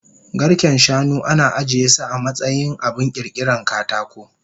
Garken shanu ana ajiyesu amatsayin abun kirkiran katako